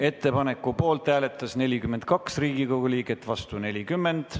Ettepaneku poolt hääletas 42 Riigikogu liiget ja vastu oli 40.